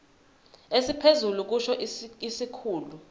esiphezulu kusho isikhulu